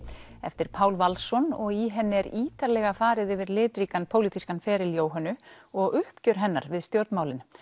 eftir Pál Valsson og í henni er ítarlega farið yfir litríkan pólitískan feril Jóhönnu og uppgjör hennar við stjórnmálin